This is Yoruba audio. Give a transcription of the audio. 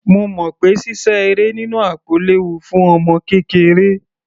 Mo mọ̀ pé sísá eré nínú àpò léwu fún ọmọ kékeré.